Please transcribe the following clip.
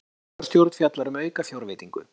Borgarstjórn fjallar um aukafjárveitingu